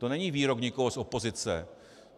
To není výrok někoho z opozice.